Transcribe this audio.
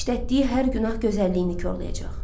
İşlətdiyi hər günah gözəlliyini korlayacaq.